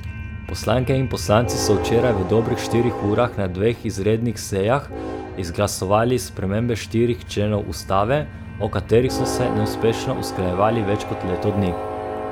Poslanke in poslanci so včeraj v dobrih štirih urah na dveh izrednih sejah izglasovali spremembe štirih členov ustave, o katerih so se neuspešno usklajevali več kot leto dni.